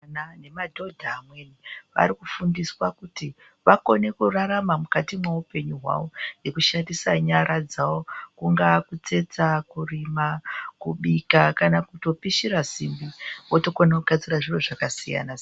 Madhodha amweni vafundiswe kurarama mukati mwendaramo dzawo nekushandisa nyara dzawo kungaa kutsetsa Kurima kubika kana kutopishira simbi wotokona kugadzira zviro zvakasiyana -siyana .